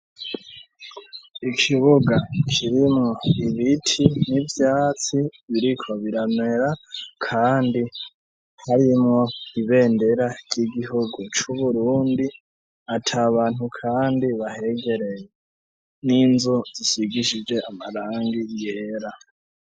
Ikibuga kirimwo ibiti n'ivyatsi biriko biramera ,kandi harimwo ibendera ry'Igihugu c'Uburundi ,at' abantu kandi bahegereye ,n'inzu zisigishije amarangi yera.